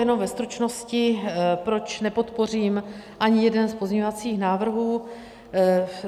Jenom ve stručnosti, proč nepodpořím ani jeden z pozměňovacích návrhů.